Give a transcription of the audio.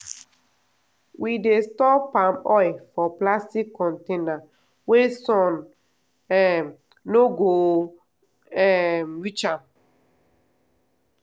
we dey store palm oil for plastic container wey sun um no go um reach am.